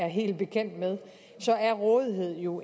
helt bekendt med er rådighed jo